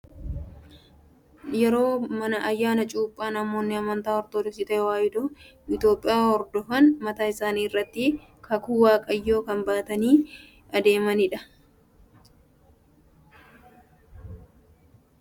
Yeroo ayyaana cuuphaa namoonni amantaa ortodoksii tawaahidoo Itoophiyaa hordofan mataa isaanii irratti muka akka xaawulaa uffataan maruudhaan baatanii tooraan baatanii adeemu. Wanti kunis taabota jedhama. Anaan kan na dhibe kun gowwummaa natti fakkaata.